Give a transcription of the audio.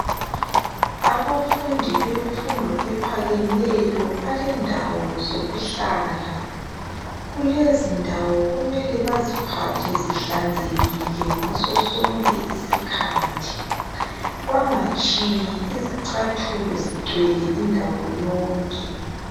Abafundi bemfundo emphakeneyo balendawo zokuhlala kulezindawo kumele baziphathe zihlanekile ngaso sonke isikhathi bangatshiyi izicathulo zigcwele indawo yonke.